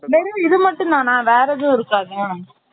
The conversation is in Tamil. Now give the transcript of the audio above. வெரும் இது மட்டும் தானா வெர எதும் இருக்காதா